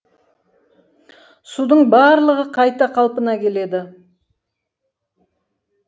судың барлығы қайта қалпына келеді